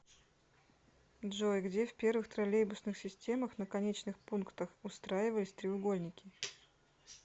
джой где в первых троллейбусных системах на конечных пунктах устраивались треугольники